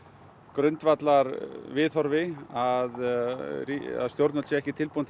grundvallarviðhorfi að stjórnvöld séu ekki tilbúin